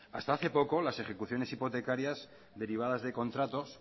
hasta hace poco las ejecuciones hipotecarias derivadas de contratos